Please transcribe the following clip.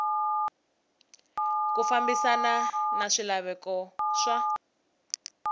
ku fambisana na swilaveko swa